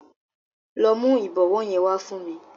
Lọ mu ìbọwọ́ yẹn wá fún mi.